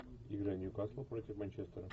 игра ньюкасла против манчестера